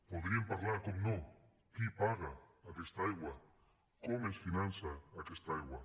podríem parlar per descomptat qui paga aquesta aigua com es finança aquesta aigua